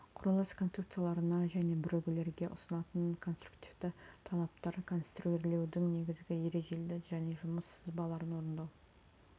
құрылыс конструкцияларына және бірігулерге ұсынылатын конструктивті талаптар конструирлеудің негізгі ережелері және жұмыс сызбаларын орындау